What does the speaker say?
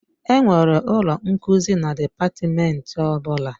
Enwere ụlọ nkuzi na dịpatmenti ọ bụla